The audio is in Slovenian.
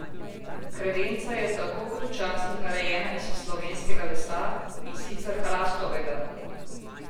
Kredenca je tako kot včasih narejena iz slovenskega lesa, in sicer hrastovega.